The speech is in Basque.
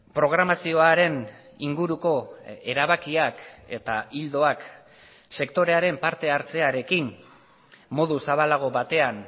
programazioaren inguruko erabakiak eta ildoak sektorearen partehartzearekin modu zabalago batean